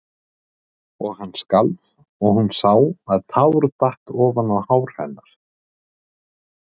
Og hann skalf og hún sá að tár datt ofan á hár hennar.